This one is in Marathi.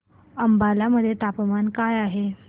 अंबाला मध्ये तापमान काय आहे